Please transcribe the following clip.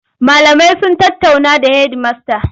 Malamai sun tattaunawa da hedimasta.